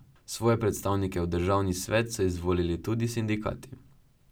Svoje predstavnike v državni svet so izvolil tudi sindikati.